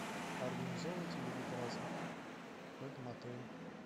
организовываете ли вы праздник в этом отеле